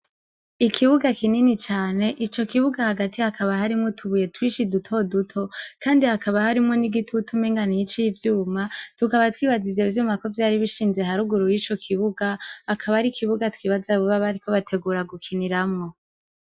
Ikibuga kinini cane ico kibuga hagati hakaba harimwo utubuye twinshi dutoduto kandi harimwo nigitutu umenga nicivyuma tukaba twibazako ivyo vyuma vyari bishinze haruguru yico kibuga akaba ari ikibuga twibaza boba bariko bategura gukiniramwo.